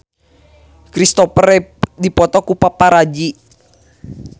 Christopher Reeve dipoto ku paparazi